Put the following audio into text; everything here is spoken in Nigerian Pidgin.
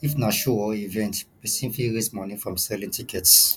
if na show or event person fit raise money from selling tickets